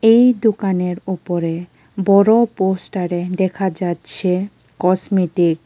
এই দোকানের ওপরে বড়ো পোস্টারে দেখা যাচ্ছে কসমেটিক ।